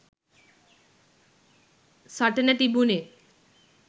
සටන තිබුනෙ